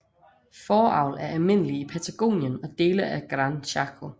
Fåreavl er almindelig i Patagonien og dele af Gran Chaco